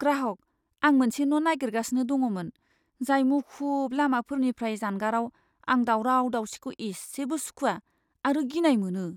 ग्राहकः "आं मोनसे न' नागिरगासिनो दङमोन, जाय मुखुब लामाफोरनिफ्राय जानगाराव आं दावराव दावसिखौ एसेबो सुखुआ आरो गिनाय मोनो।"